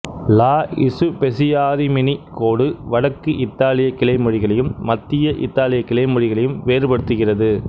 லா Spezia Rimini கோடு வடக்கு இத்தாலியக் கிளைமொழிகளையும் மத்திய இத்தாலியக் கிளைமொழிகளையும் வேறுபடுத்துகிறது